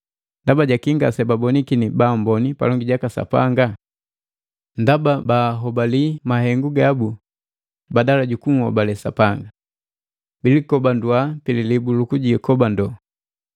Ndaba jaki ngase babonikini baamboni palongi jaka Sapanga? Ndaba bahobalia mahengu gabu badala jukunhobale Sapanga. “Bilikobandua pililibu lukujikobando,”